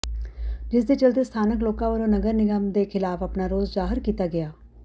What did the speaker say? ਜਿਸ ਦੇ ਚਲਦੇ ਸਥਾਨਕ ਲੋਕਾਂ ਵੱਲੋਂ ਨਗਰ ਨਿਗਮ ਦੇ ਖਿਲਾਫ ਆਪਣਾ ਰੋਸ ਜਾਹਰ ਕੀਤਾ ਗਿਆ